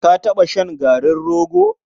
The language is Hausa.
Ka taɓa shan garin rogo?